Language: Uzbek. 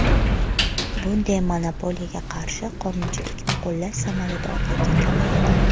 Bundan monopoliyaga qarshi qonunchilikni qo‘llash samaradorligi kamayadi.